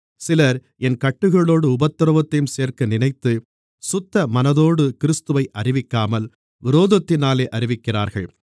சிலர் என் கட்டுகளோடு உபத்திரவத்தையும் சேர்க்க நினைத்து சுத்த மனதோடு கிறிஸ்துவை அறிவிக்காமல் விரோதத்தினாலே அறிவிக்கிறார்கள்